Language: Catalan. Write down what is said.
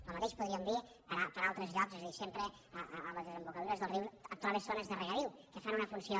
el mateix podríem dir per a altres llocs és a dir sempre en les desembocadures dels rius et trobes zones de regadiu que fan una funció